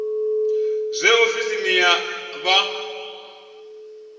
zwe ofisi iyi ya vha